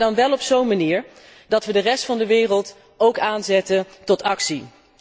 Maar dan wel op zo'n manier dat wij de rest van de wereld ook aanzetten tot actie.